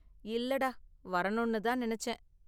இல்லைடா, வரணும்னு தான் நினைச்சேன்.